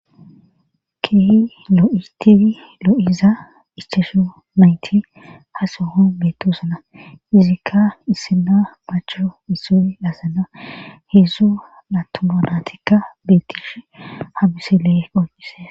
Ki lo'itii loo'iza iscesho mayti ha soho bettosana izikka issina macho isi laasana hedzzu natomonatikka betish habisilee qoonqise.